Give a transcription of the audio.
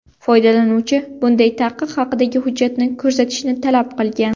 Foydalanuvchi bunday taqiq haqidagi hujjatni ko‘rsatishni talab qilgan.